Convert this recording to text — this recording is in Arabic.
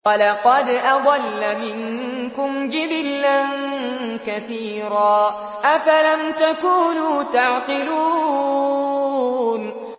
وَلَقَدْ أَضَلَّ مِنكُمْ جِبِلًّا كَثِيرًا ۖ أَفَلَمْ تَكُونُوا تَعْقِلُونَ